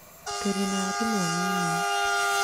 Tũrĩ naarimũ anini